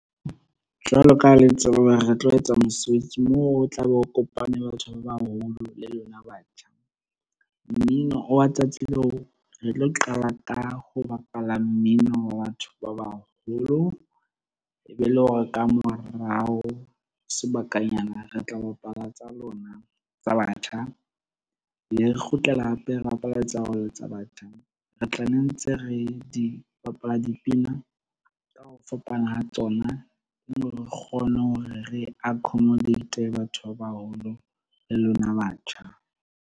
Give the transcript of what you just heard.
Jwalo ka ha le tseba hore re tlo etsa mosebetsi moo, o tla be o kopane le batho ba baholo le lona batjha. Mmino wa tsatsi leo re tlo qala ka ho bapala mmino wa batho ba baholo, e be e le hore ka morao sebakanyana re tla bapala tsa lona tsa batjha, be re kgutlela hape rebapala tsa re tla nne ntse re di bapala dipina ka ho fapana ha tsona, ne re kgone hore re accomodate-e batho ba baholo le lona batjha.